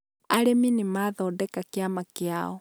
arĩmi nĩ mathondeka kĩama kĩao.